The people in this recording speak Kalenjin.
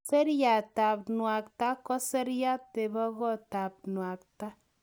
Seriatab nuakta ko seriat nebo kotab nuakta.